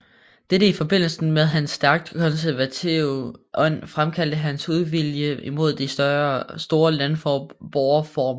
Dette i forbindelse med hans stærkt konservative ånd fremkaldte hans uvilje imod de store landboreformer